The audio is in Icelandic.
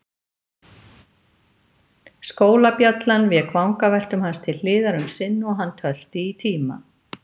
Skólabjallan vék vangaveltum hans til hliðar um sinn og hann tölti í tíma.